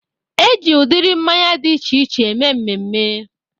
Eji udiri mmanya dị iche iche eme mmemme